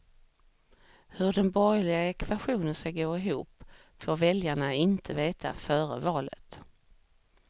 Hur den borgerliga ekvationen ska gå ihop får väljarna inte veta före valet.